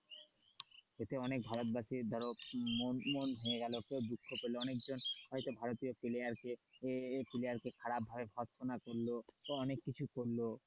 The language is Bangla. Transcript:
এতে অনেক ভারতবাসীর ধরো মন মন ভেঙ্গে গেল কেউ দুঃখ পেলে অনেকজন হয়তো ভারতীয় player কে এই player কে খারাপ করলো বা অনেক কিছু করল.